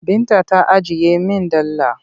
Binta ta ajiye min dala.